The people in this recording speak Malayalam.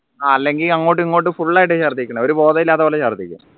അല്ലെങ്കിൽ അങ്ങോട്ടും ഇങ്ങോട്ടും full ആയിട്ട് ഛർദ്ദിക്കലാ ഒരു ബോധവും ഇല്ലാത്ത പോലെ ഛർദ്ദിക്കും